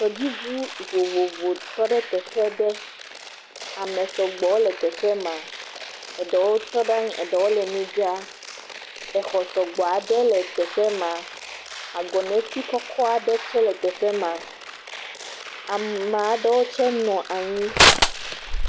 Tɔdziŋu vovovo tɔ ɖe teƒe ɖe, ame sɔgbɔ wole teƒe ma, eɖewo tɔ ɖe anyi, eɖewo le nu dzram, exɔ sɔgbɔ aɖe le teƒe ma, agɔ neti kɔkɔ aɖe tsɛ le teƒe ma. Amea ɖewo tsɛ nɔ anyi.